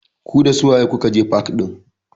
Ku dasu waye kuka je fak ɗin?